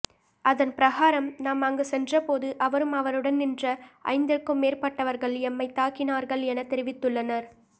அதன் பிரகாரம் நாம் அங்கு சென்றபோது அவரும் அவருடன் நின்ற ஐந்திற்கும் மேற்பட்டவர்கள் எம்மை தாக்கினார்கள் என தெரிவித்துள்ளனர்